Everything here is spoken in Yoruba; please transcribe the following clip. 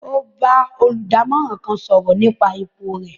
O bà olùdámọ̀ràn kán sọrọ nípa ipò rẹ